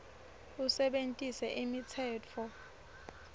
usebentise imitsetfo